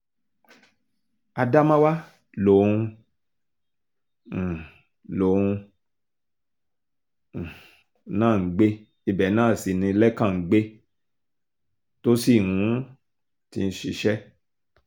ádámáwá lòun um lòun um náà ń gbé ibẹ̀ náà sí ni lẹ́kàn ń gbé tó sì um ti ń ṣiṣẹ́